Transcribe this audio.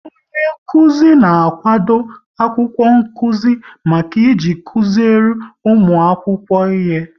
Onyenkụzi na-akwado akwụkwọ nkụzi maka iji kụziri ụmụ akwụkwọ ihe